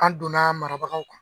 An donna a marabagaw kan.